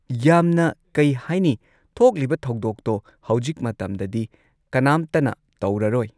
ꯌꯥꯝꯅ ꯀꯩ ꯍꯥꯏꯅꯤ ꯊꯣꯛꯂꯤꯕ ꯊꯧꯗꯣꯛꯇꯣ ꯍꯧꯖꯤꯛ ꯃꯇꯝꯗꯗꯤ ꯀꯅꯥꯝꯇꯅ ꯇꯧꯔꯔꯣꯏ꯫